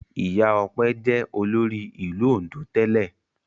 Ìyá Ọpẹ́ jẹ́ olórí ìlú Oǹdó tẹ́lẹ̀.